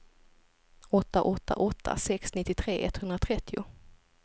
åtta åtta åtta sex nittiotre etthundratrettio